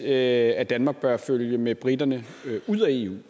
at danmark bør følge med briterne ud af eu